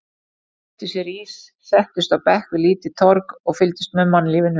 Þau keyptu sér ís, settust á bekk við lítið torg og fylgdust með mannlífinu.